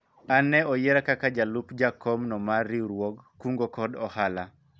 an ne oyiera kaka jalup jakom no mar riwruog kungo kod hola